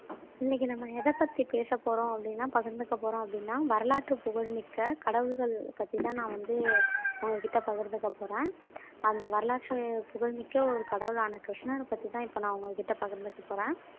இன்னைக்கு நம்ம எத பத்தி பேச போறோம் அப்படின்னா பகிர்ந்துக்க போறோம் அப்படின்னா வரலாற்று புகழ்மிக்க கடவுள்கள் பத்திதான் நான் வந்து உங்க கிட்ட பகிர்ந்துக்க போறேன் அந்த வரலாற்று புகழ்மிக்க ஒரு கடவுளான கிருஷ்ணரை பத்திதான் இப்ப நான் உங்க கிட்ட பகிர்ந்துக்க போறேன்